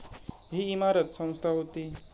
ही इमारत संस्था होती.